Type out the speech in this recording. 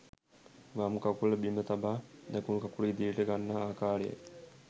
වම් කකුල බිම තබා දකුණු කකුල ඉදිරියට ගන්නා ආකාරයි